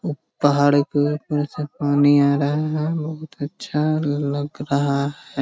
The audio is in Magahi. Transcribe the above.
उ पहाड़ के नीचे पानी आ रहा है बहुत अच्छा लग रहा है।